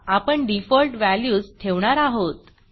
आपण डिफॉल्ट valuesडिफॉल्ट वॅल्यूस ठेवणार आहोत